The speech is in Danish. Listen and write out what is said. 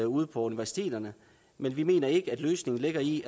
ude på universiteterne men vi mener ikke løsningen ligger i